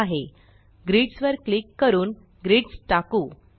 grids grids वर click करून grids टाकु